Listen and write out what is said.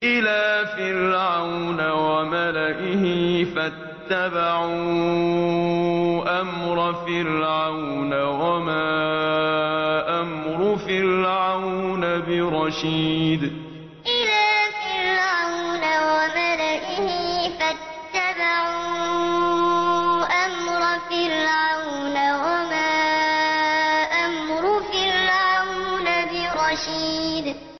إِلَىٰ فِرْعَوْنَ وَمَلَئِهِ فَاتَّبَعُوا أَمْرَ فِرْعَوْنَ ۖ وَمَا أَمْرُ فِرْعَوْنَ بِرَشِيدٍ إِلَىٰ فِرْعَوْنَ وَمَلَئِهِ فَاتَّبَعُوا أَمْرَ فِرْعَوْنَ ۖ وَمَا أَمْرُ فِرْعَوْنَ بِرَشِيدٍ